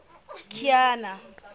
kiana